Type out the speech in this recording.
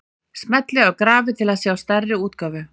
Smellið á grafið til að sjá stærri útgáfu.